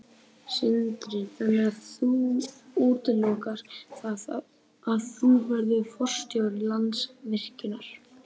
Sindri: Þannig að þú útilokar það að þú verðir forstjóri Landsvirkjunar?